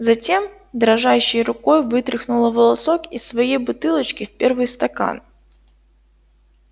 затем дрожащей рукой вытряхнула волосок из своей бутылочки в первый стакан